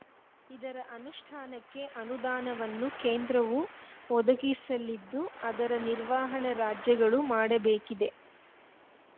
ಇದರ ಅನುಷ್ಠಾನಕ್ಕೆ ಅನುದಾನವನ್ನು ಕೇಂದ್ರವು ಒದಗಿಸಲಿದ್ದು ಅದರ ನಿರ್ವಹಣೆ ರಾಜ್ಯಗಳು ಮಾಡಬೇಕಿದೆ